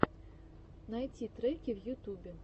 найти треки в ютюбе